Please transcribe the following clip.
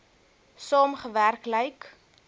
saam gewerk lyk